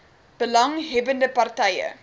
belang hebbende partye